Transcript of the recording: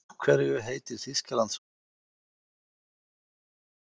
Af hverju heitir Þýskaland svo ólíkum nöfnum á frekar líkum tungumálum?